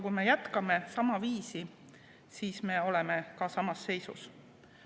Kui me jätkame samaviisi, siis me oleme samas seisus.